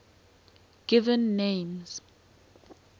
given names